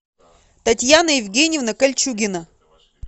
татьяна евгеньевна кольчугина